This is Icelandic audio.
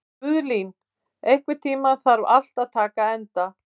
Guðlín, einhvern tímann þarf allt að taka enda.